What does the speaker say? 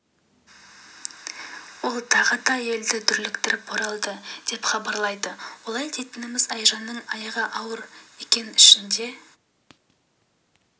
ол тағы да елді дүрліктіріп оралды деп хабарлайды олай дейтініміз айжанның аяғы ауыр екен ішінде